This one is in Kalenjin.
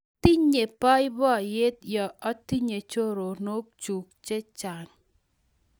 Atinye boiboiyet yo atinye choronokchuu chechang